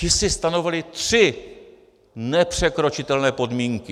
Ti si stanovili tři nepřekročitelné podmínky.